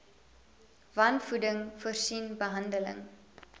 wanvoeding voorsien behandeling